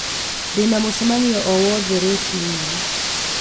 Ndĩna mũcemanio o wothe rũciũ rũciinĩ